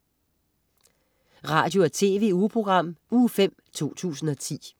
Radio- og TV-ugeprogram Uge 5, 2010